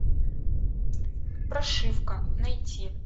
прошивка найти